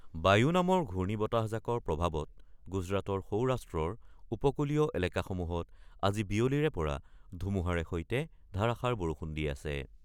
বায়ু নামৰ ঘূৰ্ণীবতাহজাকৰ প্ৰভাৱত গুজৰাটৰ সৌৰাষ্ট্ৰৰ উপকুলীয় এলেকাসমূহত আজি বিয়লিৰে পৰা ধুমুহাৰ সৈতে ধাৰাষাৰ বৰষুণ দি আছে।